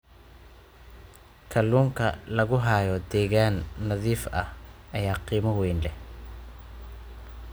Kaluunka lagu hayo deegaan nadiif ah ayaa qiimo weyn leh.